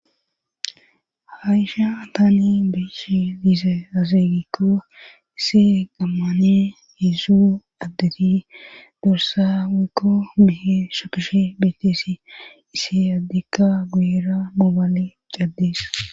ha isha ataani beeshi diize azegikko isse qammane heesu addeti dursa wikko behe shapishe beeteesi ise yaddikka guyira mobaale caddees